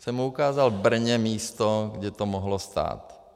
Jsem mu ukázal v Brně místo, kde to mohlo stát.